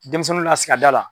Denmisɛnninw lasigi a da la.